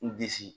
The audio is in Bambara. N disi